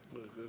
Palun!